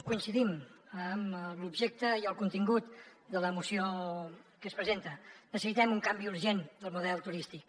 coincidim en l’objecte i el contingut de la moció que es presenta necessitem un canvi urgent del model turístic